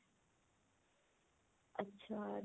ਅੱਛਾ